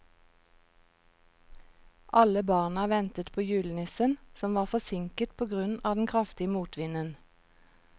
Alle barna ventet på julenissen, som var forsinket på grunn av den kraftige motvinden.